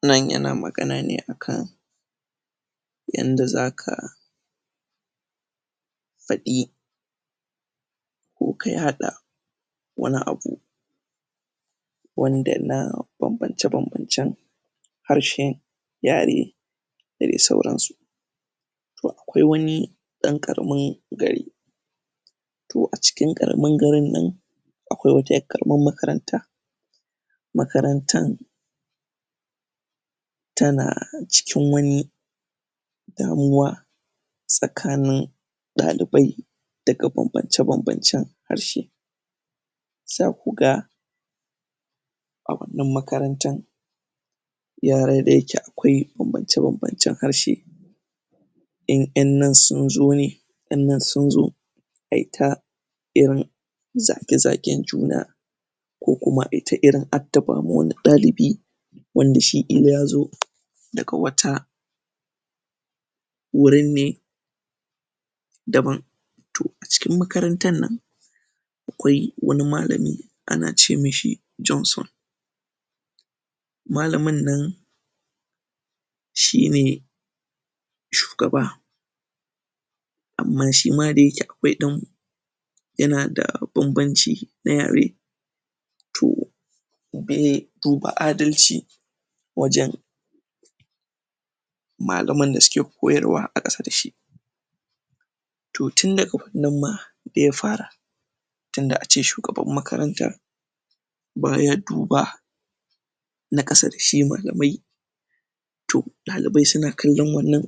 Wannan yana magana ne a kan yanda za ka faɗi ko ka yaɗa wani abu wanda na bambance-bambancen harshe, yare da dai sauransu. Akwai wani ɗan ƙaramin gari to a ciki ƙaramin garin nan akwai wata ƴar ƙaramar makaranta makarantar tana cikin wani damuwa tsakanin ɗalibai daga bambance-bambancen harshe Za ku ga a wannan makarantar yara da yake akwai bambance-bam, bancen harshe in an ƴan nan sun zo ne, ƴan nan zun zo a yi ta irin zage-zagen juna' ko kuma a yi ta irin addaba ma wani ɗalibi wanda shi ya zo daga wata wurin ne daban. To a cikin makarantar nan akwai wani malami ana ce mishi Johnson malamin nan shi ne shugaba amma shi ma da yake akwai ɗan yana da bambanci na yare to to ba adalci wajen malaman da suke koyarwa a ƙasa da shi To tun daga nan ma ya far tunda a ce shugaban makarantar\ ba ya duba na ƙasa da shi malamai to ɗalibai suna kan ƴan wannan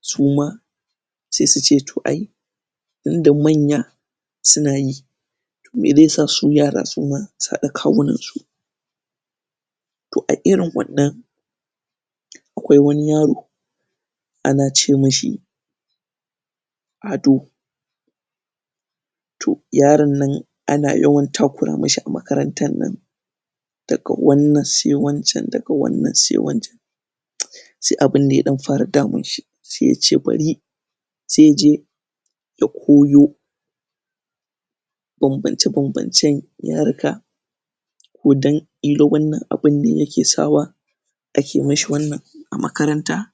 su ma sai su ce to ai tunda manya suna yi to me zai sa su yara su haɗa kawunansu To a irin wannan akwai wani yaro ana ce mishi Ado to, yaron nan ana yawan takura mishi a makarantar nan daga wannan sai wancan, daga wannan sai wancan sai abin nan ya ɗan fara damun shi, sai ya ce bari sai ya je ya koyo bambance-bambancen yaruka ko don ƙila wannan abin ne yake sawa ake mishi wannan a makaranta.